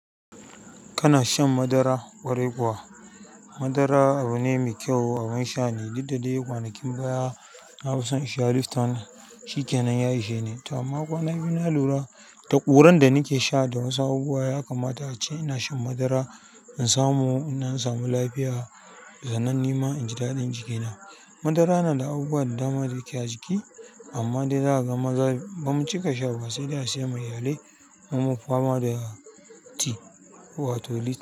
Kana shan madara ƙwarai kuwa? Madara abu ne mai kyau abun sha ne, duk da dai kwanakin baya na fison in sha Liftan, shikkenan ya isheni ta amma kwan biyu na lura da ƙuran da nake sha da wasu abubuwa, ya kamata ace ina shan madara in samu, inɗan samu lafiya. Sannan nima inji daɗin jikina. Madara na da abubuwan da dama ɗaya ke a jiki, amma dai za ka ga maza bamu cika sha ba sai dai a siya ma iyalai, mu munfi fama da tea wato litt.